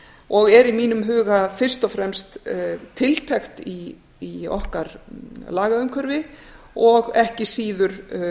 og er í mínum huga fyrst og fremst tiltekt í okkar lagaumhverfi og ekki síður